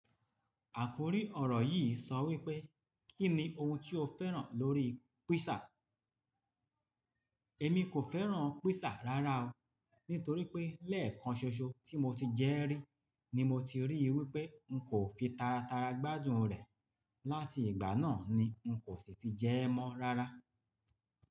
Àkòrí ọ̀rọ̀ yìí sọ wí pé, "Kí ni ohun tí o fẹ́ràn lórí pízà?" Èmi kò fẹ́ràn pízà rárá o, nítorí pé lẹ́ẹ̀kan ṣoṣo tí mo ti jẹ rí ni mo ti ríi wí pé n kò fi tara tara gbádùn rẹ̀. Láti ìgbà náà ni n kò sì ti jẹ mọ́ rárá.